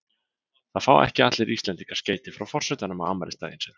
Það fá ekki allir Íslendingar skeyti frá forsetanum á afmælisdaginn sinn.